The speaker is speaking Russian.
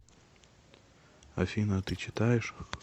афина а ты читаешь